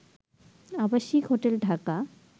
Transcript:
আবাসিক হোটেল ঢাকা